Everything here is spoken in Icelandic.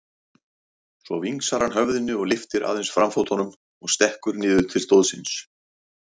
Svo vingsar hann höfðinu og lyftir aðeins framfótunum og stekkur niður til stóðsins.